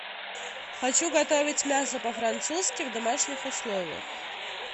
хочу готовить мясо по французски в домашних условиях